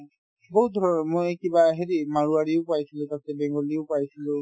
বহুত ধৰণৰ মই কিবা হেৰি মাৰুৱালীও পাইছিলো তাৰপিছত বেংগলীও পাইছিলো